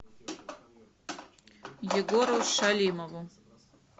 егору шалимову